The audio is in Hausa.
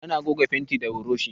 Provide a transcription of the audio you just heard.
Ana goga fenti da buroshi.